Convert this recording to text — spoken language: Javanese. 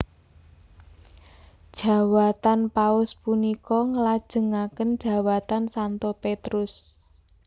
Jawatan Paus punika nglajengaken jawatan Santo Petrus